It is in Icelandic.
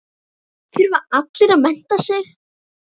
Þurfa allir að mennta sig?